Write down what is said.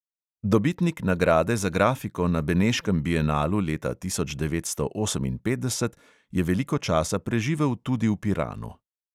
Dobitnik nagrade za grafiko na beneškem bienalu leta devetnajststo oseminpetdeset je veliko časa preživel tudi v piranu.